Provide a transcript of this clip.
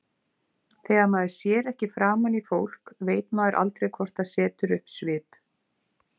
Þegar maður sér ekki framan í fólk veit maður aldrei hvort það setur upp svip.